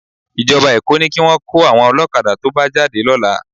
Ìjọba Èkó ní kí wọn kó àwọn ọlọ́kadà tó bá jáde lọ́la